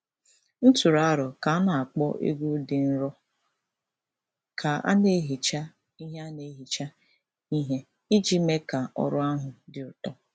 M tụrụ aro ka a na-akpọ egwú dị nro ka a na-ehicha ihe a na-ehicha ihe iji mee ka ọrụ ahụ dị ụtọ.